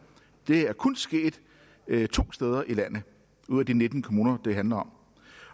det er kun sket to steder i landet ud af de nitten kommuner det handler om